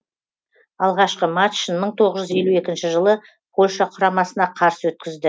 алғашқы матчын мың тоғыз жүз елу екінші жылы польша құрамасына қарсы өткізді